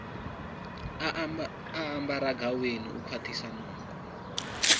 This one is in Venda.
ambaraho gaweni u kwaṱhisa nungo